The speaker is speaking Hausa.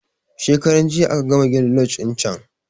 Shekaran jiya aka gama gina loje din can